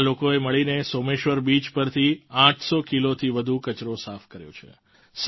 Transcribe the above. આ લોકોએ મળીને સોમેશ્વર બીચ પરથી 800 કિલોથી વધુ કચરો સાફ કર્યો છે